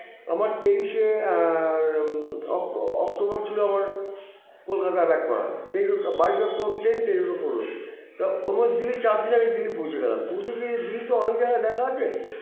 আমার তেইশে আআআ ওই octo October ছিল আমার কলকাতা back করার তেইশ ও বাইসে october train তেইশে পরবে তা চার দিন আগে দিল্লি পৌছে গেলাম পৌছে গিয়ে দিল্লিতেতো অনেক জায়গা দেখার আছে